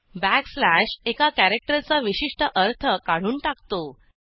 backslash एका कॅरॅक्टरचा विशिष्ट अर्थ काढून टाकतो